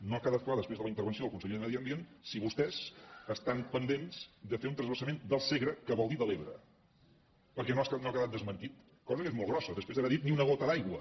no ha quedat clar després de la intervenció del conseller de medi ambient si vostès estan pendents de fer un transvasament del segre que vol dir de l’ebre perquè no ha quedat desmentit cosa que és molt grossa després d’haver dit ni una gota d’aigua